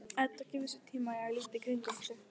Edda gefur sér tíma til að líta í kringum sig.